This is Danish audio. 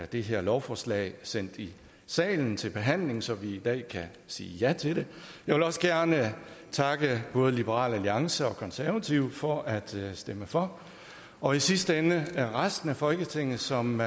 det her lovforslag sendt i salen til behandling så vi i dag kan sige ja til det jeg vil også gerne takke både liberal alliance og konservative for at stemme for og i sidste ende resten af folketinget som